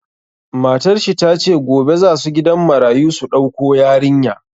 Matar shi ta ce, gobe za su gidan marayu su dauko yarinya.